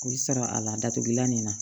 I sara a la datugulan nin na